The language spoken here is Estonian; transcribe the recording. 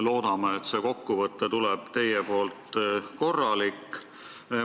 Loodame, et teie kokkuvõte tuleb korralik.